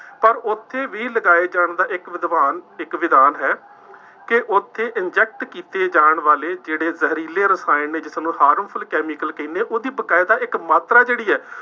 ਪਰ ਉੱਥੇ ਵੀ ਲਗਾਏ ਜਾਣ ਦਾ ਇੱਕ ਵਿਦਵਾਨ ਇੱਕ ਵਿਧਾਨ ਹੈ ਕਿ ਉੱਥੇ inject ਕੀਤੇ ਜਾਣ ਵਾਲੇ ਜਿਹੜੇ ਜ਼ਹਿਰੀਲੇ ਰਸਾਇਣ ਨੇ ਜੋ ਤੁਹਾਨੂੰ harmful chemical ਕਹਿੰਦੇ, ਉਹਦੀ ਬਕਾਇਦਾ ਇੱਕ ਮਾਤਰਾ ਜਿਹੜੀ ਹੈ